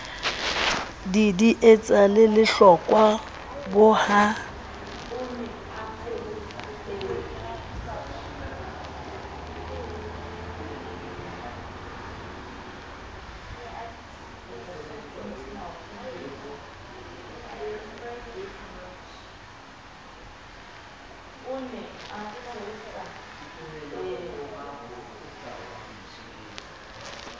didietsa le lehlokwa bo ha